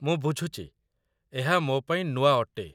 ମୁଁ ବୁଝୁଛି, ଏହା ମୋ ପାଇଁ ନୂଆ ଅଟେ।